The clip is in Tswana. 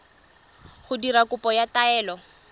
go dira kopo ya taelo